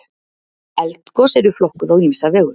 Eldgos eru flokkuð á ýmsa vegu.